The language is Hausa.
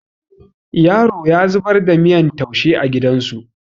Yaro ya zubar da miyan taushe a gidan su